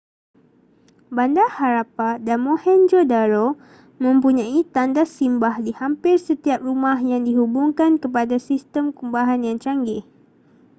bandar harappa dan mohenjo-daro mempunyai tandas simbah di hampir setiap rumah yang dihubungkan kepada sistem kumbahan yang canggih